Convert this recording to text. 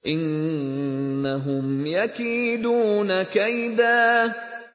إِنَّهُمْ يَكِيدُونَ كَيْدًا